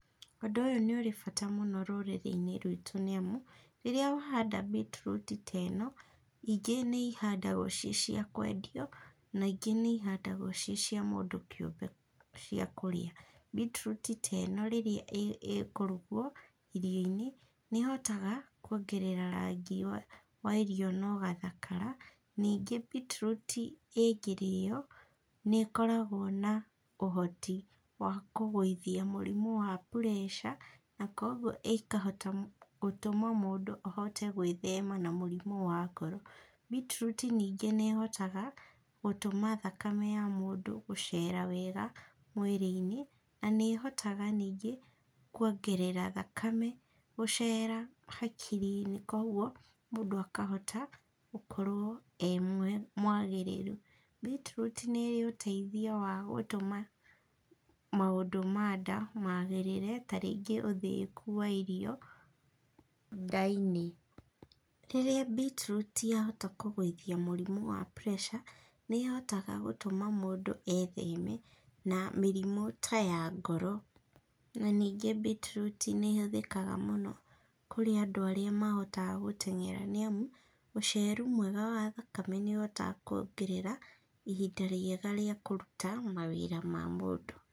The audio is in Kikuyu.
Ũndũ ũyũ nĩũrĩ bata rũũrĩ-inĩ ruitũ nĩ amu, rĩrĩa wahanda mbitiruti teeno, ingĩ nĩihandagwo cicia kwendio, na ingĩ nĩ ihandagwo ci cia mũndũ kĩũmbe cia kũrĩa, mbitiruti teno rĩrĩa ĩkũrugwo irio-inĩ nĩĩhotaga kwongerera rangi wa irio nogathakara, ningĩ mbitiruti ĩngĩrĩĩo nĩĩkoragwo na ũhoti wa kũgũithia mũrimũ wa preca na koguo ĩkahota gũtũma mũndũ ahote gwĩthema na mũrimũ wa ngoro, mbitiruti nĩngĩ nĩĩhotaga, gũtũma thakame ya mũndũ gũceera wega mwĩrĩ-inĩ, na nĩĩhotaga niingĩ kwongerera thakame gũceera hakiri-inĩ koguo mũndũ akahota gũkorwo e mwagĩrĩru, mbitiruti nĩĩrĩ ũteithio wa gũtũma maũndũ ma nda magĩrĩre ta rĩngĩ ũthĩĩku wa irio nda-inĩ, rĩrĩa mbitiruti yahota kũgũithia mũrimũ wa preca ,nĩĩhotaga gũtũma mũndũ etheme na mĩrimũ ta ya ngoro, na ningĩ mbitiruti nĩĩhũthĩkaga mũno kũrĩ andũ arĩa mahotaga gũteng’era nĩamu ũceeru mwega wa thakame nĩũhotaga kũongerera ihinda rĩega rĩa kũruta mawĩĩra ma mũndũ